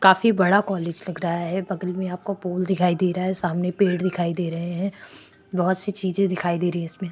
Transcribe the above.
काफी बड़ा कॉलेज लग रहा है बगल में आपको पोल दिखाई दे रहा है सामने पेड़ दिखाई दे रहे हैं बहुत सी चीजे दिखाई दे रही है इसमें-- ।